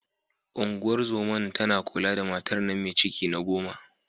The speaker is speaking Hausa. Unguwar zoman tana kula da matar nan me ciki na goma.